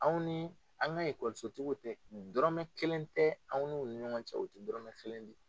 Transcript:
Anw ni an ka ekɔliso tigiw cɛ dɔrɔmɛ kelen tɛ anw n'u ni ɲɔgɔn cɛ o tɛ dɔrɔmɛ kelen di